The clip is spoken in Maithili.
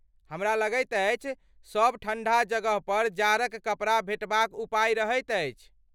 हमरा लगैत अछि, सभ ठण्ढा जगहपर जाड़क कपड़ा भेटबाक उपाय रहैत अछि।